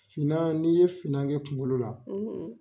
Finna n'i ye finna kɛ kunkolo la